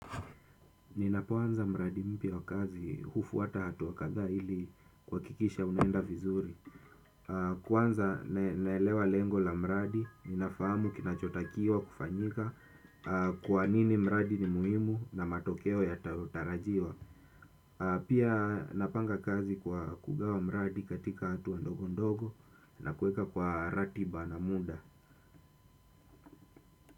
Ninapoanza mradi mpya wa kazi, hufuata hatua kadhaa hili kuakikisha unaenda vizuri. Kwanza naelewa lengo la mradi, ninafahamu kinachotakiwa kufanyika kwa nini mradi ni muhimu na matokeo yatayotarajiwa. Pia napanga kazi kwa kugawa mradi katika hatua ndogo ndogo na kueka kwa ratiba na muda.